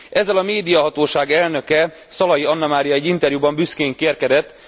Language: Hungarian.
Ezzel a médiahatóság elnöke, Szalai Annamária egy interjúban büszkén kérkedett.